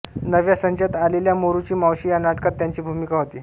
नव्या संचात आलेल्या मोरूची मावशी या नाटकात त्यांची भूमिका होती